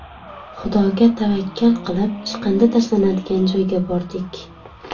Xudoga tavakkal qilib, chiqindi tashlanadigan joyga bordik.